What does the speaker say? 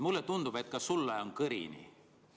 Mulle tundub, et ka sul on kõrini.